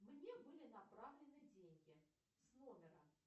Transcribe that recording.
мне были направлены деньги с номера